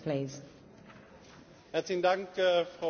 Frau Präsidentin, Herr Vizepräsident!